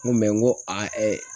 N ko n ko a